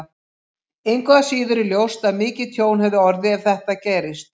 Engu að síður er ljóst að mikið tjón hefði orðið ef þetta gerist.